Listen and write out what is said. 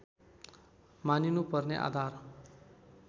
मानिनुपर्ने आधार